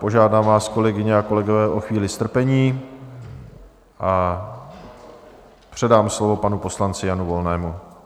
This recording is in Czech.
Požádám vás, kolegyně a kolegové, o chvíli strpení a předám slovo panu poslanci Janu Volnému.